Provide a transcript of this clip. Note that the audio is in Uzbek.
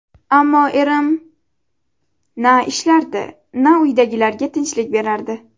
Ammo erim... Na ishlardi, na uydagilarga tinchlik berardi.